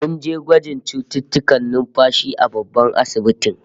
Mun je sashen gwajin cututtukan numfashi a babban asibitin